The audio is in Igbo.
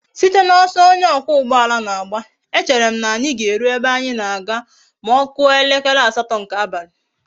Site na oso onye okwa ugboala na agba,e chere m na anyi ga eru ebe anyi na aga ma okuo elekere asato nke abali